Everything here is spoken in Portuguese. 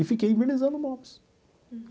E fiquei envernizando móveis.